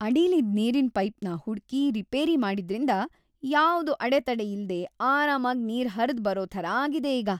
ಅಡಿಲಿದ್ ನೀರಿನ್‌ ಪೈಪ್‌ನ ಹುಡ್ಕಿ ರಿಪೇರಿ ಮಾಡಿದ್ರಿಂದ ಯಾವ್ದೂ ಅಡೆತಡೆ ಇಲ್ದೆ ಆರಾಮಾಗ್‌ ನೀರ್ ಹರ್ದ್‌ಬರೋ ಥರ ಆಗಿದೆ ಈಗ.